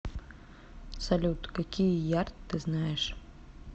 салют какие ярд ты знаешь